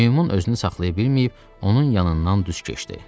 Meymun özünü saxlaya bilməyib, onun yanından düz keçdi.